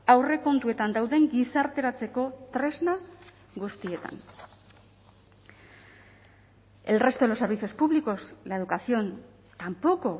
aurrekontuetan dauden gizarteratzeko tresna guztietan el resto de los servicios públicos la educación tampoco